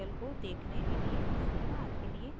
इस ट्यूटोरियल को देखने के लिए धन्यवाद